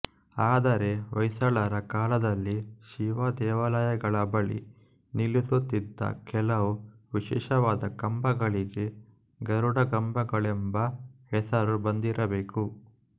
ಆದರೆ ಹೊಯ್ಸಳರ ಕಾಲದಲ್ಲಿ ಶಿವ ದೇವಾಲಯಗಳ ಬಳಿ ನಿಲ್ಲಿಸುತ್ತಿದ್ದ ಕೆಲವು ವಿಶಿಷ್ಟವಾದ ಕಂಬಗಳಿಗೆ ಗರುಡಗಂಬಗಳೆಂಬ ಹೆಸರು ಬಂದಿರಬೇಕು